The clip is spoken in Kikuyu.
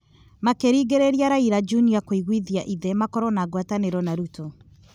Makĩringĩrĩria Raila Junior kũiguithia ithe gũkorwo na ngwatanĩro na Ruto,